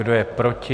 Kdo je proti?